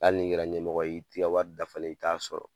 Hali ni kɛra ɲɛmɔgɔ ye i t'i ka wari dafalen i t'a sɔrɔ